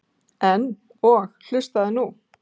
En. og hlustaðu nú